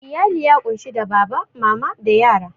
Iyali ya kunshi da baba, mama, da yara